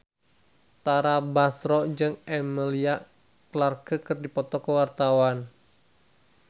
Tara Basro jeung Emilia Clarke keur dipoto ku wartawan